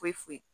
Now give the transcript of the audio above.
Foyi foyi